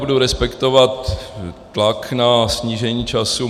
Budu respektovat tlak na snížení času.